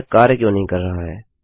यह कार्य क्यों नहीं कर रहा है160